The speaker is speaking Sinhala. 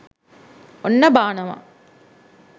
ඔන්න බානවා